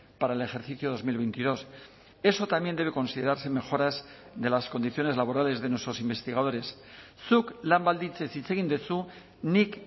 para el ejercicio dos mil veintidós eso también debe considerarse mejoras de las condiciones laborales de nuestros investigadores zuk lan baldintzez hitz egin duzu nik